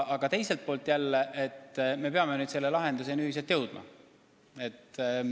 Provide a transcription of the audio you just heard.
Aga teiselt poolt me peame ühiselt lahenduseni jõudma.